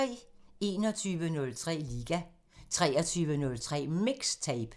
21:03: Liga 23:03: MIXTAPE